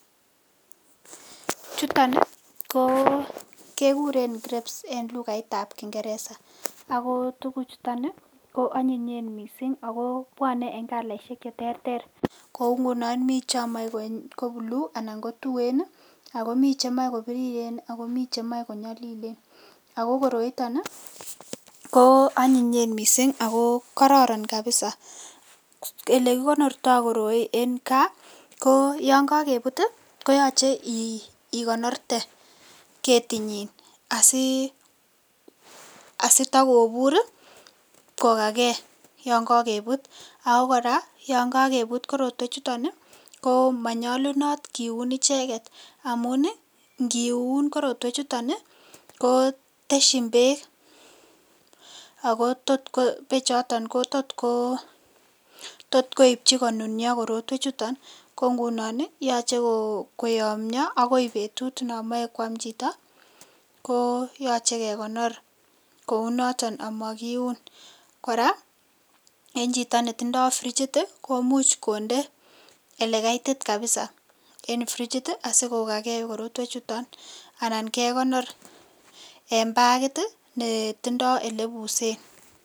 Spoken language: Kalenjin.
Chuton kekuren grapes en kutitab kingereza ako tuguchuton ii ko onyinye missing' akobwone en kalaishek cheterter ngunon mi chomoe kobuluu anan kotuen ii anan komi chebiriren ii ak komi chemoe konyolilen, ako koroito koonyinyen missing' ii ako kororon kabisa elekikonorto koroi en kaa ko yon kokebut ii koyoche ikonorte ketinyin asitokobur kokake yon kokebut, ako koraa yon kokebut korotwechuton ii komonyolunot kiun icheket amu ingiun korotwechuton ii koteshin beek, ako bechoton koto koibchi konunio korotwechuton koo ngunon koyoche koyomio akoi betut non moe kwam chito ko yoche kekonor kounoton omokiun, koraa en chito netindo frichit ii komuch konde elekaitit kabisa en frichit ii asikokaken korotwechuton anan kekonor en bakit ii netindo elebusen.